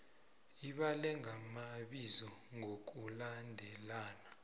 ibale ngamabizo ngokulandelana